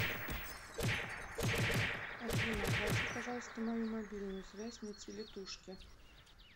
афина оплати пожалуйста мою мобильную связь на телетушке